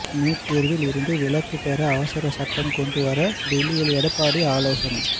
NEET தேர்வில் இருந்து விலக்கு பெற அவசரச் சட்டம் கொண்டு வர டெல்லியில் எடப்பாடி ஆலோசனை